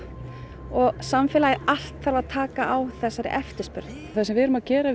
og samfélagið allt þarf að taka á þessari eftirspurn það sem við erum að gera